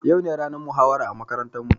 Yau ne ranar muhawara a makarantar mu